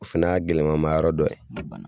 O fɛnɛ y'a gɛlɛmamayɔrɔ dɔ ye